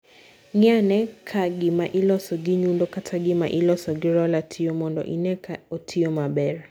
Ng'i ane ka gima iloso gi nyundo kata gima iloso gi roller tiyo, mondo ine ka otiyo maber